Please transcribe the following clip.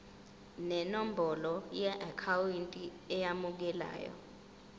nenombolo yeakhawunti emukelayo